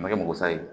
A ma kɛ mɔgɔsa ye